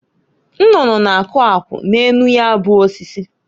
Nnụnụ na-akụ akwụ n'enu ya bụ osisi.